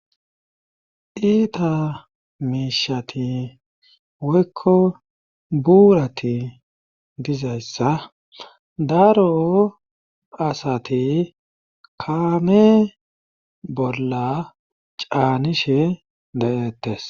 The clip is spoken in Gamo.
Iita miishati woykko buurati dizayssa daro asati kaame bolla caanishe dayettes.